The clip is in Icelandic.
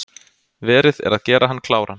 Verið er að gera hann kláran